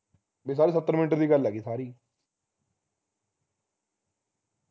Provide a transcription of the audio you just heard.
ਬਈ ਸਾਰੀ ਸੱਤਰ minute ਦੀ ਗੱਲ ਹੈਗੀ ਸਾਰੀ